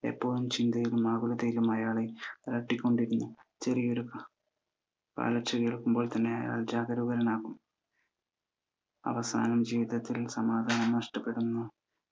എപ്പോഴും ചിന്തകളും ആകുലതകളും അയാളെ അലട്ടിക്കൊണ്ടിരുന്നു. ചെറിയൊരു കാലൊച്ച കേൾക്കുമ്പോൾ തന്നെ അയാൾ ജാഗരൂകനാകും. അവസാനം ജീവിതത്തിൽ സമാധാനം നഷ്ടപ്പെടുന്നു. ചെരുപ്പുകുത്തി